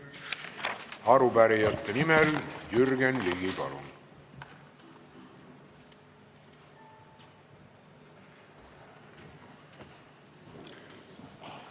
Arupärijate nimel Jürgen Ligi, palun!